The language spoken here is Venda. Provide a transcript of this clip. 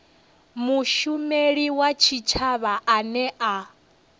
mushumeli wa tshitshavha ane a